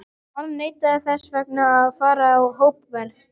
harðneitaðir þess vegna að fara í hópferð!